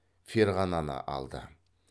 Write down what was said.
ферғананы алды